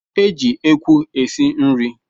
E jị ekwu esi nri